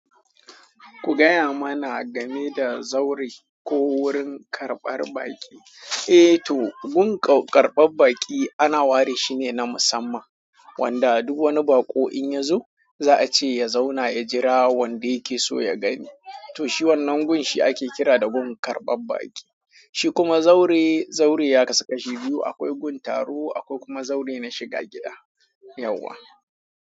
Ku gaya mana game da zaure ko wurin karɓar baƙi. Eh to, gun ƙarɓar baƙi ana ware shi ne na musamman wanda duk wani baƙo in ya zo za a ce ya zauna, ya jira wanda yake so ya gani. To shi wannan gun shi ake kira da gun karɓar baƙi. Shi kuma zaure, zaure ya kasu kashi biyu. Akwai gun taro akwai kuma zaure na shiga gida. Yauwa.